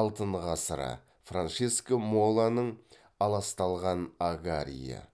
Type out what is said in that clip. алтын ғасыры франческо моланың аласталған агариі